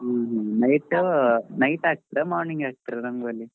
Night ಹಾಕ್ತಿರಾ morning ಹಾಕ್ತಿರಾ ರಂಗೊಲಿ?